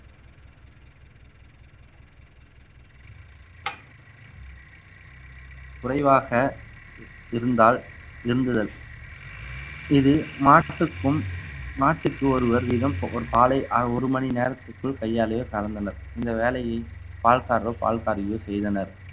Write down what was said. குறைவாக இருந்தால் இருந்துதல் இது மாட்டுக்கும் மாட்டுக்கு ஒருவர் வீதம் ஒரு பாலை அஹ் ஒரு மணி நேரத்திற்குள் கையாலயோ கறந்தனர் இந்த வேலையை பால்காரரோ பால்காரியோ செய்தனர்